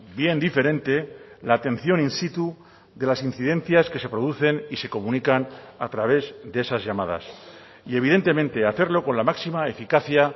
bien diferente la atención in situ de las incidencias que se producen y se comunican a través de esas llamadas y evidentemente hacerlo con la máxima eficacia